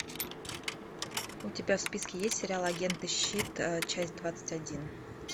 у тебя в списке есть сериал агенты щит часть двадцать один